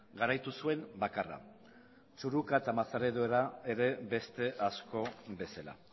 garaitu zuen bakarra txurruka eta mazarredo ere beste asko bezala